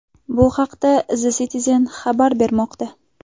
Bu haqda The Citizen xabar bermoqda .